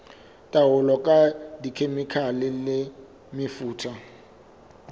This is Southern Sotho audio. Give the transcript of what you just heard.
taolo ka dikhemikhale le mefuta